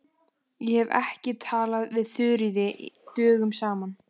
Ég hef ekki talað við Þuríði dögum saman.